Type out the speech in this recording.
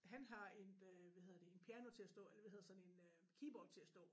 Han har et øh hvad hedder det en piano til at stå eller hvad hedder sådan en øh keyboard til at stå